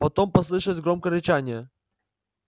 потом послышалось громкое рычание